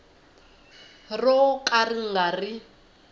ro ka ri nga ri